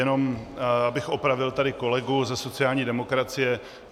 Jenom abych opravil tady kolegu ze sociální demokracie.